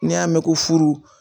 N'i y'a mɛn ko furu